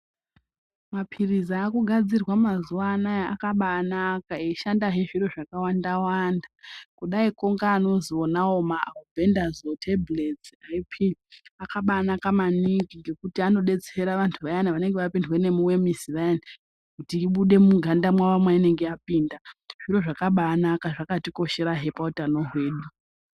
Maphirizi akugadzirwa mazuwanaya akabanaka eishandazve zviro zvakawanda wanda kudaiwo ngeanozwi ma albendazole tablets IP akabanaka maningi ngekuti anodetsera vantu vayana vanenge vapindwa nemiwemisi vayana kuti ibude muganda mwawo mainenge yapinda zviro zvakabanaka zvakatikosherahe pautano hwedu.